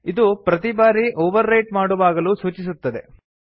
ಇದು ಪ್ರತಿ ಬಾರಿ ಓವರ್ ರೈಟ್ ಮಾಡುವಾಗಲೂ ಸೂಚಿಸುತ್ತದೆ